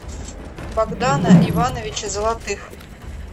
богдана ивановича золотых